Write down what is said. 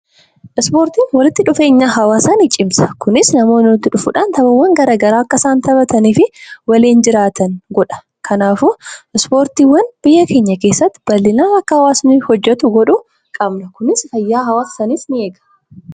Ispoortiin walitti dhufeenya hawaasaa ni cimsa. Kunis namoonni walitti dhufuun taphoota garaagaraa akka isaan taphatanii fi kan waliin jiraatan godha. Kanaafuu ispoortiin fayyaa hawaasaa keessatti fayidaa hedduu qaba.